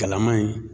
Kalaman ye